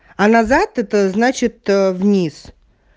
а назад это значит вниз